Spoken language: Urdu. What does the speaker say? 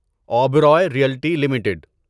Oberoi realty limited